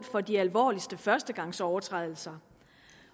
for de alvorligste førstegangsovertrædelser